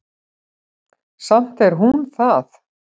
Samt er hún það.